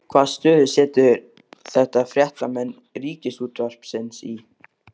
Hvaða stöðu setur þetta fréttamenn Ríkisútvarpsins í?